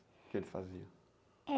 O que eles faziam?